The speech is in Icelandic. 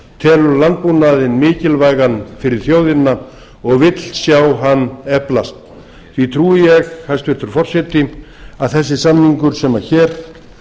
telur landbúnaðinn mikilvægan fyrir þjóðina og vill sjá hann eflast því trúi ég hæstvirtur forseti að þessi samningur sem hér